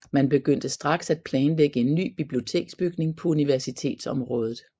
Man begyndte straks at planlægge en ny biblioteksbygning på universitetsområdet